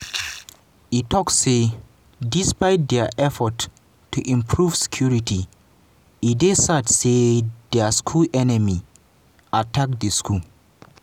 e tok say despite dia effort to improve security e dey sad say di school enemies attack di school.